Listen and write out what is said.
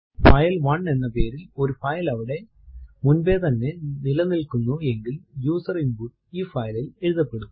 file one എന്ന പേരിൽ ഒരു ഫൈൽ അവിടെ മുൻപേ തന്നെ നിലനില്കുന്നു എങ്കിൽ യൂസർ ഇൻപുട്ട് ഈ file ൽ എഴുതപ്പെടും